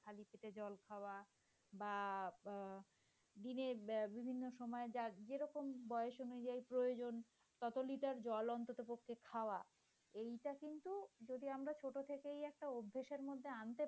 জল খাওয়া বা দিনের বিভিন্ন সময়ে যার যেরকম বয়স অনুযায়ী যেটাই প্রয়োজন তত লিটার জল অন্তত পক্ষে খাওয়া এটা কিন্তু যদি আমরা ছোট থেকে একটা অভ্যাসের মধ্যে আনতে পারি।